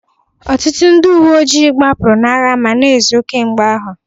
Ọtụtụ ndị uwe ojii gbapụrụ n'agha ma na-ezo kemgbe ahụ